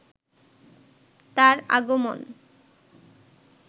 তার আগমন